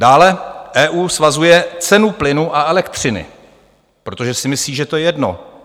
Dále EU svazuje cenu plynu a elektřiny, protože si myslí, že to je jedno.